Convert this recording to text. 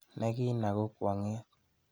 Nekina ko kwong'et.